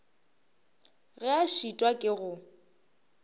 ge a šitwa ke go